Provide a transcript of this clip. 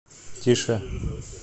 тише